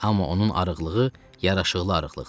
Amma onun arıqlığı yaraşıqlı arıqlıqdır.